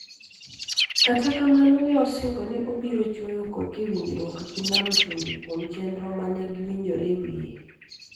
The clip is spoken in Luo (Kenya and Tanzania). Kata kamano, ne osingo ni obiro chwoyo koke e winjruok gi Nam Chumbi kuom chenro ma ne giwinjore e wiye.